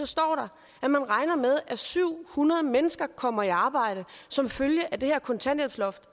står der at man regner med at syv hundrede mennesker kommer i arbejde som følge af det her kontanthjælpsloft